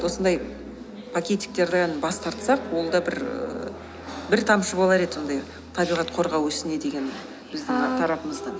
осындай пакетиктерден бас тартсақ ол да бір ііі бір тамшы болар еді сондай табиғат қорғау ісіне деген біздің ааа тарапымыздан